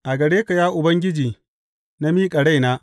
A gare ka Ya Ubangiji, na miƙa raina.